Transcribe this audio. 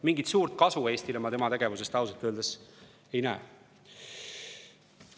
Mingit suurt kasu Eestile ma tema tegevusest ausalt öeldes ei näe.